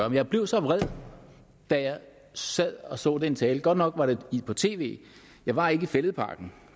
jeg blev så vred da jeg sad og så den tale godt nok var det på tv jeg var ikke i fælledparken